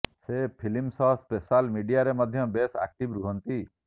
ସେ ଫିଲ୍ମ ସହ ସୋଶାଲ ମିଡିଆରେ ମଧ୍ୟ ବେଶ ଆକ୍ଟିଭ ରୁହନ୍ତି